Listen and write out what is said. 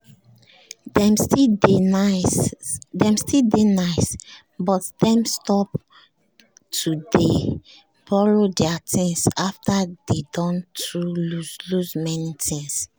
dem still dey nice but dem stop to dey borrow their things after dey don too loss loss many times